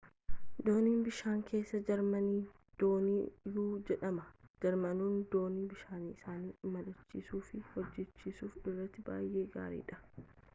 dooniin bishaan keessaa jarmani doonii-u jedhama jarmanoonni doonii bishaan isaanii imalchiisuu fi hojjachiisuu irratti baay'ee gaariidha